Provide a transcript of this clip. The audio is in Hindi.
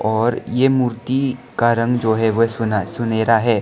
और ये मूर्ति का रंग जो है वह सुना सुनहरा है।